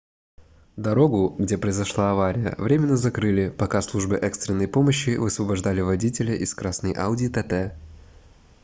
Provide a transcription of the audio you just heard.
дорогу где произошла авария временно закрыли пока службы экстренной помощи высвобождали водителя из красной audi tt